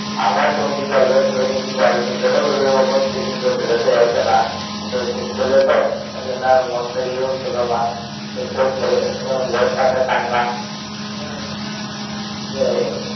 আমারও চোখ দিয়ে জল বেরোচ্ছিল কিন্তু জল তো বেরোবে বেরোবে করছে কিন্তু আর বেরোতে চাইছে না কারণ ছেলে তো ঐজন্য আর মন থেকে আর ই হচ্ছিলো বৌ এর সামনে কান্না